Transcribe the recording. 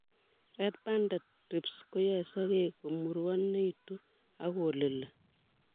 Red banded thrips koyoe sokek komurwonitun ok kolili